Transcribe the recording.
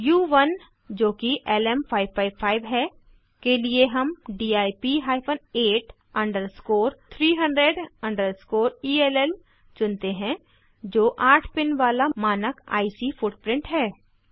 उ1 जोकि एलएम555 है के लिए हम DIP hyphen 8 underscore 300 underscore L चुनते हैं जो 8 पिन वाला मानक आईसी फुटप्रिंट है